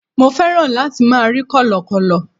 mo fẹ́ràn láti ma rí kọlọkọlọ